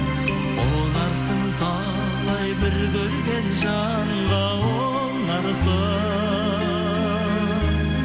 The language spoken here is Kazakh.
ұнарсың талай бір көрген жанға ұнарсың